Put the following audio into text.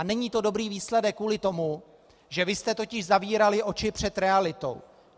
A není to dobrý výsledek kvůli tomu, že vy jste totiž zavírali oči před realitou.